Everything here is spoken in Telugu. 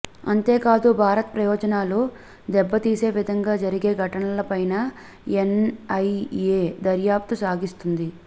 అంతేకాదు భారత్ ప్రయోజనాలు దెబ్బతీసే విధంగా జరిగే ఘటనలపైనా ఎన్ఐఏ దర్యాప్తు సాగిస్తుంది